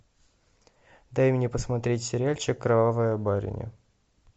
дай мне посмотреть сериальчик кровавая барыня